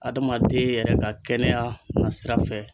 Adamaden yɛrɛ ka kɛnɛya nasira fɛ.